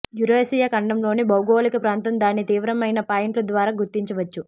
Eurasia ఖండంలోని భౌగోళిక ప్రాంతం దాని తీవ్రమైన పాయింట్లు ద్వారా గుర్తించవచ్చు